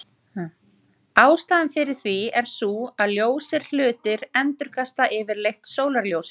Ástæðan fyrir því er sú að ljósir hlutir endurkasta yfirleitt sólarljósinu.